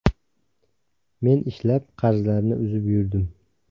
Men ishlab, qarzlarni uzib yurdim.